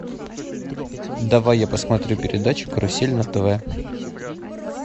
давай я посмотрю передачу карусель на тв